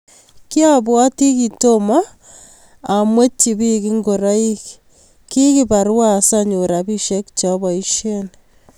Kiabwoti kiatomon kiyangwetchini biik ngoroik, kukibarwa asanyor rabisiek che aboisie.